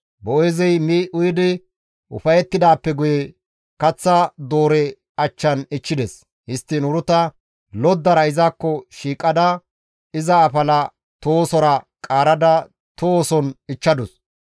Boo7eezey mi uyidi ufayettidaappe guye kaththa doore achchan ichchides; histtiin Uruta loddara izakko shiiqada iza afala tohosora qaarada tohoson ichchadus.